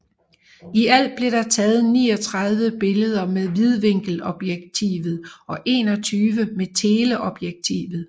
I alt blev der taget 39 billeder med vidvinkelobjektivet og 21 med teleobjektivet